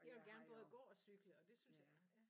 Jeg vil gerne både gå og cykle og det synes jeg ja